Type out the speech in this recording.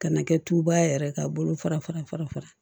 Ka na kɛ tuba yɛrɛ ka bolo fara fara